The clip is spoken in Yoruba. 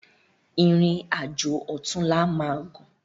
Irin ájó òtúnlá má gún